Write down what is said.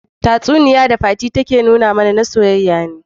Tatsuniya da fati take fada mana, na soyayya ne.